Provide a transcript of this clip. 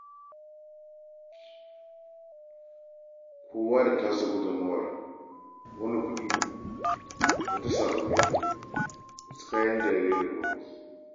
Kowa da tasa gudummawar: wani kuɗi, wata sabulai, wani kayan jariri da famfas.